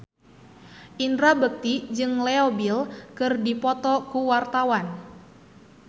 Indra Bekti jeung Leo Bill keur dipoto ku wartawan